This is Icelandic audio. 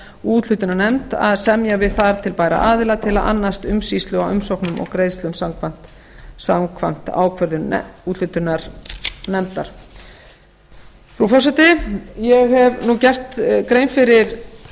úthlutunarnefnd að semja við þar til bæra aðila til að annast umsýslu á umsóknum og greiðslum samkvæmt ákvörðun úthlutunarnefndar frú forseti ég hef nú gert grein